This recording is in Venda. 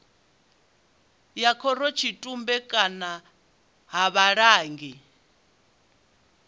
ya khorotshitumbe kana ha vhulangi